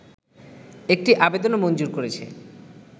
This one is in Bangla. একটি আবেদনও মঞ্জুর করেছে